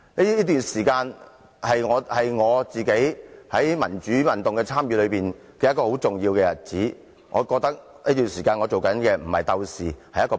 這段時間是我參與民主運動的重要時期，我認為我在這段時間是僕人而非鬥士。